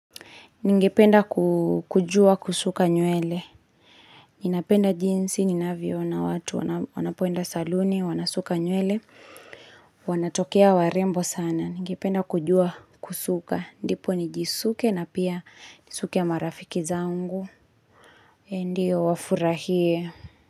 Ningependa kujua kusuka nywele. Ninapenda jinsi, ninavyoona watu, wanapoenda saluni, wanasuka nywele. Wanatokea warembo sana. Ningependa kujua kusuka. Ndipo nijisuke na pia nisuke na marafiki zangu. Ndiyo wafurahie.